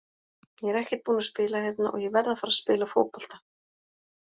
Ég er ekkert búinn að spila hérna og ég verð að fara að spila fótbolta.